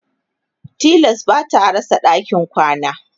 tilas bata rasa ɗakin kwana